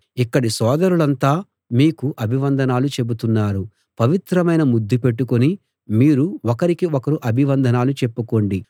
ఇక్కడి సోదరులంతా మీకు అభివందనాలు చెబుతున్నారు పవిత్రమైన ముద్దుపెట్టుకుని మీరు ఒకరికి ఒకరు అభివందనాలు చెప్పుకోండి